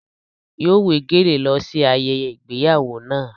Yóò wé gèlè lọ sí ayẹyẹ ìgbéyàwó náà.